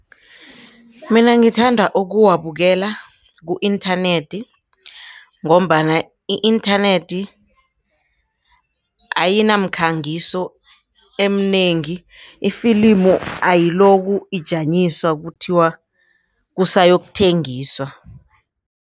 Mina ngithanda ukuwabukela ku-internet ngombana i-nternet ayinamkhangiso eminengi ifilimu ayiloku ijanyiswa kuthiwa kusayokuthengiswa.